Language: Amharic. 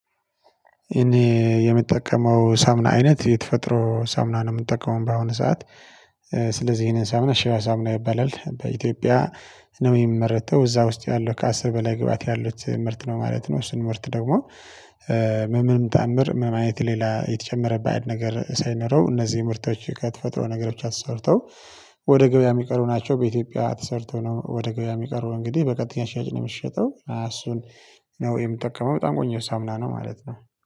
እኔ የምጠቀመው የሳሙና አይነት የተፈጥሮ ሳሙና ነው የምጠቀመው በአሁኑ ሰዓት። ስለዚህ ይሄንን ሳሙና ሺባ ሳሙና ይባላል በኢትዮጵያ ነው የሚመረተው እዛ ውስጥ ያለው ከአስር በላይ ግብአት ያሉት ምርት ነው ማለት ነው። እሱን ምርት ደግሞ በምንም ተአምር ምንም አይነት ሌላ የተጨመረ በአድ ነገር ሳይኖረው እነዚህ ምርቶች ከተፈጥሮ ነገሮች ብቻ ተሰርተው ወደ ገበያ የሚቀሩ ናቸው። በኢትዮጵያ ተሰርተው ነው ወደ ገበያ የሚቀርቡ እንግዲህ በቀጥተኛ ሻጭ ነው የሚሸጠው እሱን። ያው የምጠቀመው በጣም ቆንጆ ሳሙና ነው ማለት ነው